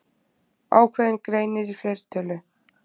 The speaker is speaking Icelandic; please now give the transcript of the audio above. Ákveðinn greinir í fleirtölu.